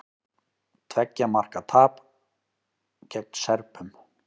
Tveggja marka tap gegn Serbum